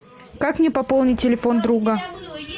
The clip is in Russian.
как мне пополнить телефон друга